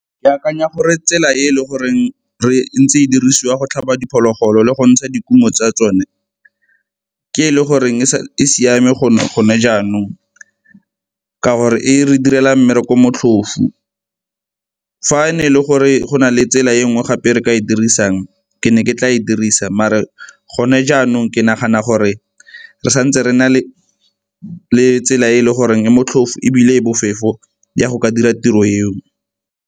Ke akanya gore tsela e e le gore re ntse e dirisiwa go tlhaba diphologolo le go ntsha dikumo tsa tsone ke e le goreng e siame go gone jaanong ka gore e re direla mmereko motlhofu. Fa ne e le gore go na le tsela e nngwe gape e re ka e dirisang ke ne ke tla e dirisa, mare gone jaanong ke nagana gore re santse re na le le tsela e e le goreng e motlhofo ebile e bofefo ya go ka dira tiro eo.